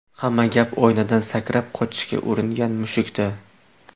Hamma gap oynadan sakrab qochishga uringan mushukda.